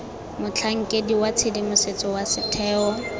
motlhankedi wa tshedimosetso wa setheo